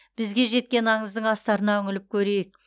бізге жеткен аңыздың астарына үңіліп көрейік